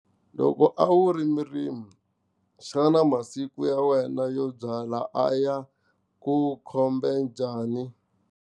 Loko a wu ri murimi xana masiku ya wena yo byala a ya ku khome njhani ?